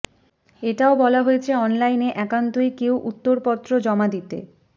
এটাও বলা হয়েছে অনলাইনে একান্তই কেউ উত্তরপত্র জমা দিতে